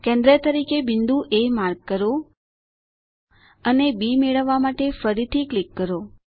કેન્દ્ર તરીકે બિંદુ એ માર્ક કરો અને બી મેળવવા માટે ફરીથી ક્લિક કરો